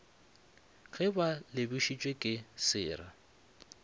ge ba lobišitšwe ke sera